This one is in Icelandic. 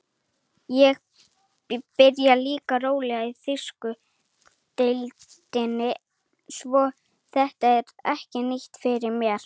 Ég byrjaði líka rólega í þýsku deildinni svo þetta er ekki nýtt fyrir mér.